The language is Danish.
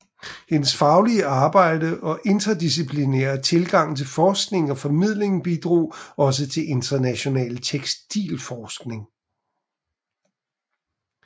Hendes faglige arbejde og interdisciplinære tilgang til forskning og formidling bidrog også til international tekstilforskning